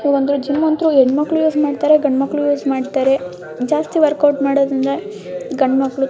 ಒಂದು ಜಿಮ್ ಅಂತು ಹೆಣ್ಮಕ್ಳು ಯೂಸ್ ಮಾಡ್ತಾರೆ ಗಂಡು ಮಕ್ಕಳು ಮಾಡ್ತಾರೆ ಜಾಸ್ತಿ ವರ್ಕೌಟ್ ಮಾಡುವುದು ಅಂದ್ರೆ ಗಂಡು ಮಕ್ಕಳು --